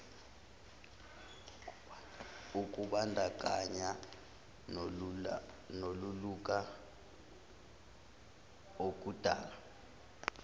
ukubandakanya nolulula okudala